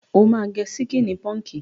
O máa gẹ síkíní pọǹkì.